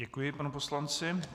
Děkuji panu poslanci.